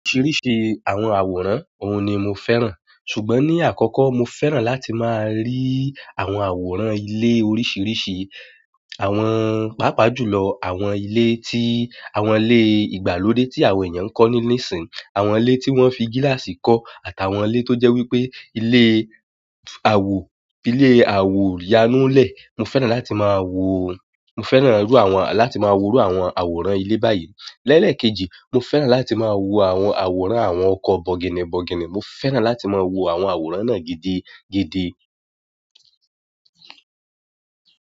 Oríṣìíríṣìí àwọn àwòrán, òun ni mo fẹ́ràn. Ṣùgbọ́n ní àkọ́kọ́, mo fẹ́ràn láti máa rí àwọn àwòrán ilé oríṣìíríṣìí. Àwọn, pàápàá jùlọ àwọn ilé tí, àwọn ilé ìgbàlódé tí àwọn èèyàn ń kọ́ nísìn, àwọn ilé tí wọ́n fi gíláàsì kọ́, àti àwọn ilé tó jẹ́ wípé ilé àwo, ilé àwo yanu lẹ̀. Mo fẹ́ràn láti máa wo, mo fẹ́ràn iru àwọn, láti máa wòó iru àwọn àwòrán ilé báyìí. Lẹ́ẹ̀lẹ̀kejì, mo fẹ́ràn láti máa wo àwọn àwòrán àwọn ọkọ̀ bọ̀gìnìbọ̀gìnì. Mo fẹ́ràn láti máa wo àwọn àwòrán náà gidi, gidi.